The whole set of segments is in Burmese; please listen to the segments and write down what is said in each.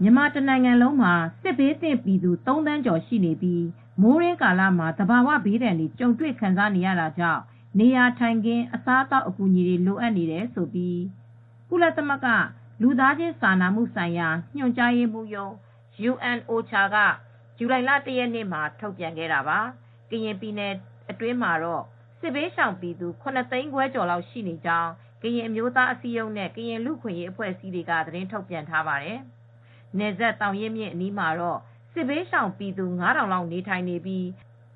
မြန်မာတနိုင်ငံလုံးမှာ စစ်ဘေးသင့်ပြည်သူ ၃သန်းကျော်ရှိနေပြီး မိုးတွင်းကာလမှာ သဘာ၀ဘေးဒဏ်တွေ ကြုံတွေခံစားနေရပြီး နေရာထိုင်ခင်းအစားအသောက်အကူညီတွေ လိုအပ်နေတယ်လို့ ကုလသမဂ္ဂလူသားချင်းစာနာမှုဆိုင်ရာညှိနှိုင်းရေးရုံး က ဇူလိုင်လ ၁ရက်နေ့က ထုတ်ပြန်ခဲ့တာပါ။ ကရင်ပြည်နယ်အတွင်းမှာတော့ စစ်ဘေးရှောင်ပြည်သူ ၇သိန်းခွဲလောက်ရှိနေကြောင်း ကရင်အမျိုးသားအစည်းအရုံး KNU နဲ့ ကရင်လူအခွင့်ရေးအဖွဲ့တွေက သတင်းထုတ်ပြန်ထားပါတယ် ။ နယ်စပ်သောင်ရင်းမြစ်အနီးမှာတော့ စစ်ဘေးရှောင်ပြည်သူ ၅ ထောင်လောက်နေထိုင်နေပြီး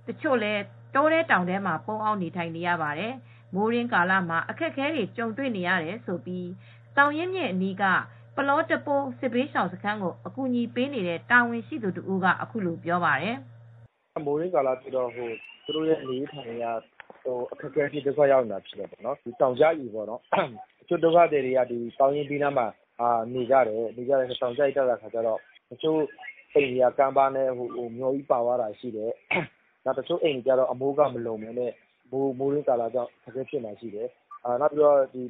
တချို့လည်း တောထဲတောင်ထဲမှာပုန်းအောင်းနေထိုင်နေရပါတယ်။ မိုးတွင်းကာလမှာ အခက်အခဲတွေကြုံတွေနေရတဲ့ အခက်အခဲတွေကို သောင်ရင်းမြစ်အနီးက ပလော့တပိုးစစ်ဘေးရှောင်စခန်းကိုအကူညီပေးတဲ့ တာဝန်ရှိသူတဦးက ဗွီအိုအေကို အခုလိုပြောပါတယ်။ "မိုးတွင်းကာလဖြစ်တော့ သူတို့ရဲ့နေထိုင်ရေး အခက်အခဲဖြစ်နေတယ် တောင်ကျရေတွေ ကျတာ တချို့က ဒုက္ခသည်တွေက သောင်ရင်းမြစ်အနီးမှာနေရတော့ ကမ်းပါပြိုရင် အိမ်တွေပါသွားတာရှိတယ် တချို့အိမ်တွေကျတော့အမိုးအကာမလုံပဲ မိုးတွင်းကာလကြောင့်ဒုက္ခရောက်တာရှိတယ် ၊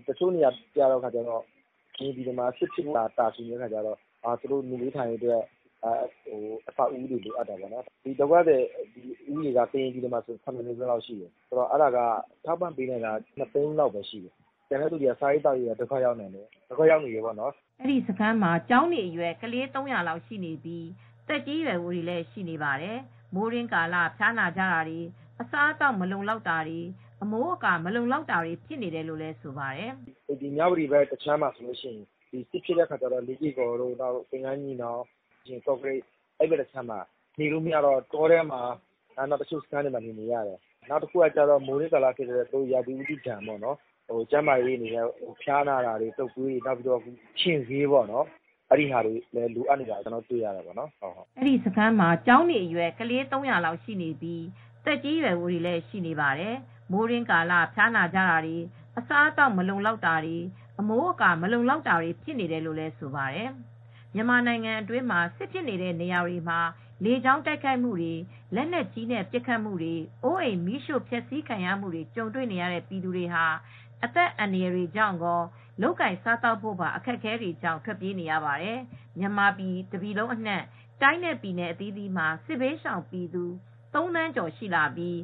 တချို့နေရာတွေက စစ်ဖြစ်ဖို့ပဲတာဆူနေတော့ နေရေးထိုင်ရေးအဆောက်အဦးအမိုးအကာတွေလိုတယ် ကရင်တပြည်လုံးမှာစစ်ဘေးရှောင်နေရတဲ့သူ က ၇သိန်းခွဲလောက်ရှိတယ်၊ အဲဒီထဲမှာ ထောက်ပံ့မှုပေးနိုင်တာက လူဦးရေ ၂ သိန်းလောက်ပဲရှိတယ် ကျန်တဲ့သူတွေကစားရေးသောက်ရေး ဒုက္ခရောက်နေရတာပေါ့နော်။" အဲဒီစခန်းမှာ ကျောင်းနေအရွယ် ကလေး ၃၀၀လောက်ရှိနေပြီး သက်ကြီးရွယ်အိုတွေလည်းရှိနေပါတယ် ။ မိုးတွင်းကာလဖျားနာကြတာ တွေ အစားအသောက်မလုံလောက်တာ အမိုးအကာမလုံလောက်တာတွေလည်းဖြစ်ပေါ်နေတယ်လို့ဆိုပါတယ်။ "မြ၀တီဘက်ခြမ်းမှာ စစ်ဖြစ်တဲ့အခါမှာ မြ၀တီတို့သင်္ကန်းညီနောင်တို့ လေးကေ့ကော်တို့ ကော့ကရိတ်ဘက်လူတွေကတော့စစ်ဘေးရှောင်နေရတော့ တောထဲမှာနေရတာ စစ်ရှောင်စခန်းမှာနေရတာတွေ ရှိတယ် မိုးတွင်းကာလ ရာသီဥတုကြောင့်ဖျားနာပြီးဆေးဝါးလိုအပ်တာ တုတ်ကွေးတွေ ငှက်ဖျားတွေအတွက်ခြင်ဆေးလိုအပ်တာတွေလည်းရှိတယ်။" မြန်မာနိုင်ငံအတွင်း စစ်ဖြစ်နေတဲ့နေရာတွေမှာ လေကြောင်းတိုက်ခိုက်တာတွေ၊ လက်နက်ကြီးနဲ့ပစ်ခတ်မှုတွေ၊ အိုးအိမ်မီးရှိ့ဖျက်ဆီးခံရမှုတွေ ကြုံနေရတဲ့ပြည်သူတွေဟာ အသက်အန္တရယ် ရင်ဆိုင်နေကြရပြီး လုပ်ကိုင်စားသောက်ဖို့အခက်အခဲတွေကြောင့် နေရပ်စွန့်ခွာ ထွက်ပြေးနေကြရပါတယ် ။ မြန်မာတပြည်လုံးအနှံ့ တိုင်းနဲ့ပြည်နယ်အသီးသီးမှာ စစ်ဘေးရှောင်ပြည်သူ ၃ သန်းကျော်ရှိနေပြီး